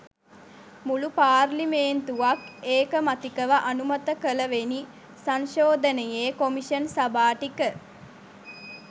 මුළු පාර්ලිමේන්තුවක් ඒකමතිකව අනුමත කළවෙනි සංශෝධනයේ කොමිෂන් සභා ටික